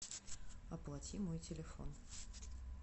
оплати мой телефон